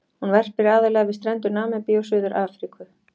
Hún verpir aðallega við strendur Namibíu og Suður-Afríku.